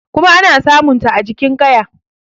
kuma ana samunta a jikn kaya